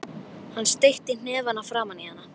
Hann steytti hnefana framan í hana.